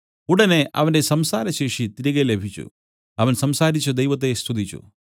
ഉടനെ അവന്റെ സംസാരശേഷി തിരികെ ലഭിച്ചു അവൻ സംസാരിച്ചു ദൈവത്തെ സ്തുതിച്ചു